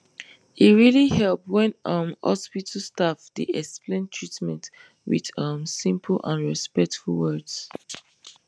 e really help when um hospital staff dey explain treatment with um simple and respectful words